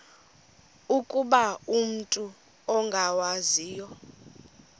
ukuba umut ongawazivo